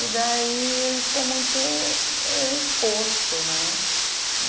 E daí a gente ficou muito exposto, né?